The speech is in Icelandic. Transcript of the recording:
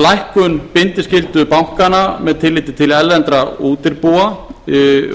lækkun bindiskyldu bankanna með tilliti til erlendra útibúa